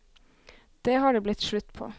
Det har det blitt slutt på.